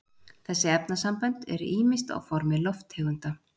þessi efnasambönd eru ýmist á formi lofttegunda